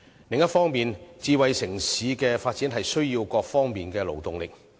另一方面，智慧城市在各方面的發展均需勞動力。